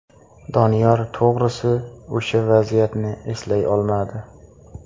Doniyor to‘g‘risi o‘sha vaziyatni eslay olmadi.